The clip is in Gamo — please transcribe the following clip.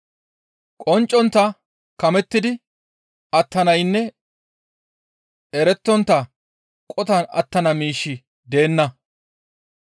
Qonccontta kamettidi attanaynne erettontta qotan attana miishshi deenna.